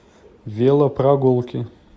велопрогулки